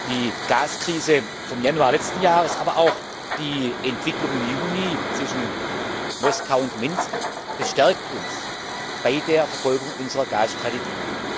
Die Gaskrise vom Januar letzten Jahres, aber auch die Entwicklung im Juni zwischen Moskau und Minsk bestärkt uns bei der Verfolgung unserer Gasstrategie.